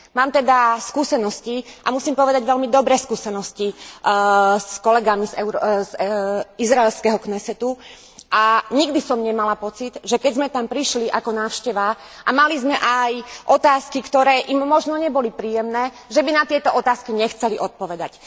Mám teda skúsenosti, a musím povedať veľmi dobré skúsenosti s kolegami z izraelského Knesetu, a nikdy som nemala pocit, že keď sme tam prišli ako návšteva a mali sme aj otázky, ktoré im možno neboli príjemné, že by na tieto otázky nechceli odpovedať.